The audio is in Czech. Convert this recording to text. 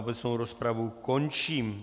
Obecnou rozpravu končím.